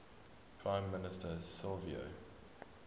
prime minister silvio